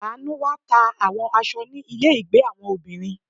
Anu wá ta àwọn aṣọ ni ile ìgbé àwọn obìnrin.